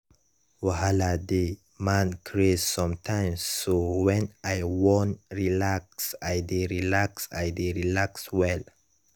wahala dey man craze sometimes so when i won relax i dey relax i dey relax well.